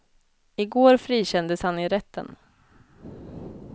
I går frikändes han i rätten.